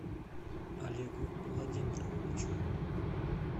олегу владимировичу